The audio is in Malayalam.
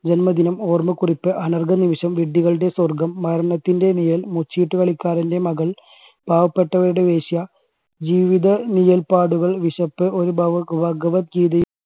ജന്മദിനം, ഓർമ്മക്കുറിപ്പ്, അനർഘനിമിഷം, വിഡ്ഢികളുടെ സ്വർഗം, മരണത്തിൻറെ നിഴൽ, മുച്ചീട്ടുകളിക്കാരന്റെ മകൾ, പാവപ്പെട്ടവരുടെ വേശ്യ, ജീവിത നിഴൽപ്പാടുകൾ, വിശപ്പ്, ഒരു ഭഗവത്ഗീതയും